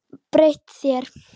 Breytt þér.